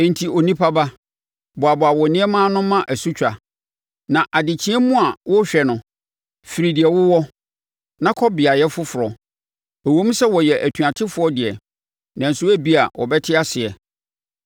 “Enti, onipa ba, boaboa wo nneɛma ano ma asutwa, na adekyeɛ mu a wɔrehwɛ no, firi deɛ wowɔ, na kɔ beaeɛ foforɔ. Ɛwom sɛ wɔyɛ atuatefoɔ deɛ, nanso ebia wɔbɛte aseɛ.